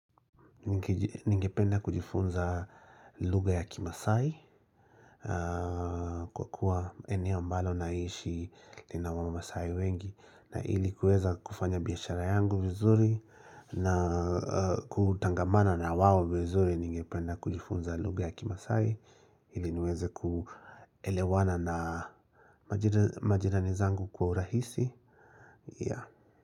Ningependa kujifunza lugha ya kimasai kwa kuwa eneo ambalo naishi lina wama masai wengi na ilikuweza kufanya biashara yangu vizuri na kutangamana na wao vizuri ningependa kujifunza lugha ya kimasai ili niweze kuelewana na majirani zangu kwa urahisi.